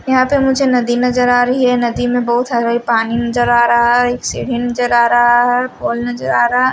यहां पे मुझे नदी नजर आ रही है नदी में बहुत सारा पानी नजर आ रहा है सीढ़ी नजर आ रहा है पोल नजर आ रहा --